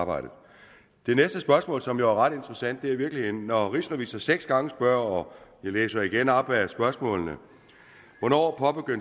arbejdet det næste spørgsmål som jo er ret interessant er i virkeligheden når rigsrevisor seks gange spørger og jeg læser igen op af spørgsmålene hvornår